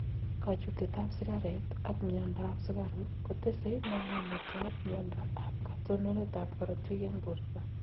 Kachutet ab sigaret ak myondo ab sukaruk kutesee namunet ab myondo ab katononet ab korotik eng borto